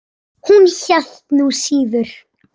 Hún hélt nú síður.